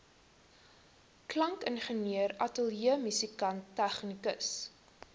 klankingenieur ateljeemusikant tegnikus